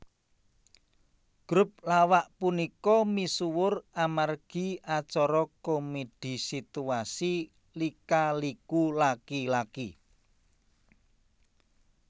Grup lawak punika misuwur amargi acara komedi situasi Lika Liku Laki Laki